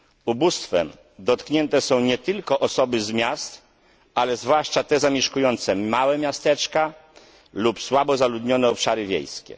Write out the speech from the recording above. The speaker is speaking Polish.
Ubóstwem dotknięte są nie tylko osoby z miast, ale zwłaszcza te zamieszkujące małe miasteczka lub słabo zaludnione obszary wiejskie.